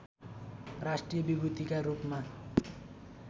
राष्ट्रिय विभूतिका रूपमा